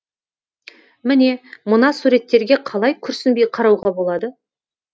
міне мына суреттерге қалай күрсінбей қарауға болады